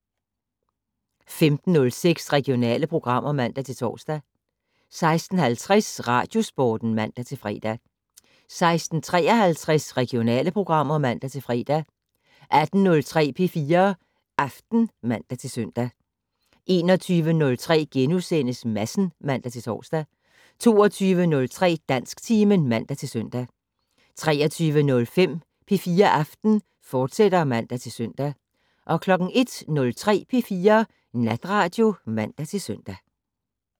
15:06: Regionale programmer (man-tor) 16:50: Radiosporten (man-fre) 16:53: Regionale programmer (man-fre) 18:03: P4 Aften (man-søn) 21:03: Madsen *(man-tor) 22:03: Dansktimen (man-søn) 23:05: P4 Aften, fortsat (man-søn) 01:03: P4 Natradio (man-søn)